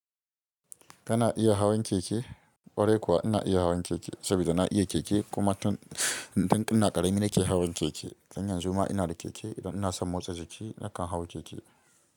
Kana iya hawan keke? Ƙwarai kuwa ina iya hawan keke saboda na iya keke kuma tun, tun ina ƙarami nake hawan keke. Dan yan zuma ina da keke idan ina son motsa jiki nakan hawo keke.